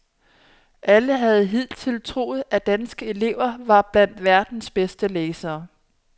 Alle havde hidtil troet, at danske elever var blandt verdens bedste læsere.